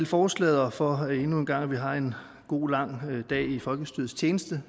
forslaget og for at vi endnu en gang har en god lang dag i folkestyrets tjeneste